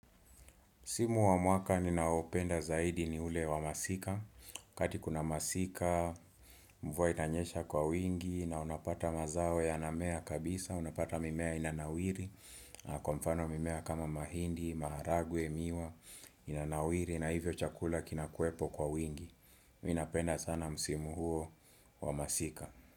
Msimu wa mwaka ninaoupenda zaidi ni ule wa masika, wakati kuna masika, mvua inanyesha kwa wingi, na unapata mazao yanamea kabisa, unapata mimea inanawiri, na kwa mfano mimea kama mahindi, maharagwe, miwa, inanawiri, na hivyo chakula kinakuwepo kwa wingi, mimi ninapenda sana msimu huo wa masika.